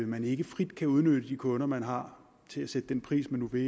man ikke frit kan udnytte de kunder man har til at sætte den pris man nu vil